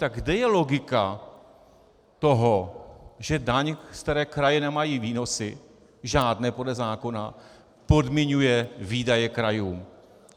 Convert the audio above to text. Tak kde je logika toho, že daň, z které kraje nemají výnosy, žádné podle zákona, podmiňuje výdaje krajů?